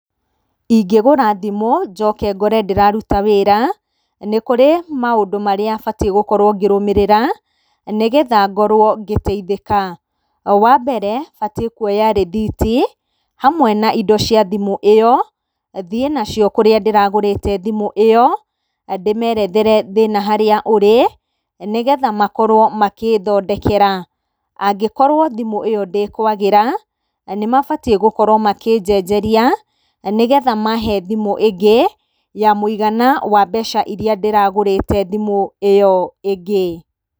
Ingĩgũra thimũ njoke ngore ndĩraruta wĩra, nĩ kũrĩ maũndũ marĩa batiĩ gũkorwo ngĩrũmĩrĩra, nĩgetha ngorwo ngĩteithĩka. Wa mbere, batiĩ kuoya rithiti, hamwe na indo cia thimũ ĩyo, thiĩ nacio kũrĩa ndĩragũrĩte thimũ ĩyo, ndĩmerethere thĩna harĩa ũrĩ, nĩgetha makorwo magĩthondekera. Angĩkorwo thimũ ĩyo ndĩ kwagĩra, nĩmabatiĩ gũkorwo makĩnjenjeria, nĩgetha mahe thimũ ĩngĩ ya mũigana wa mbeca irĩa ndĩragũrĩte thimũ ĩyo ĩngĩ.